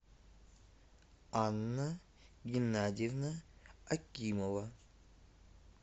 анна геннадьевна акимова